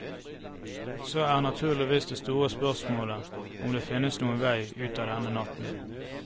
Så er naturligvis det store spørsmålet om det fins noen vei ut av denne natten.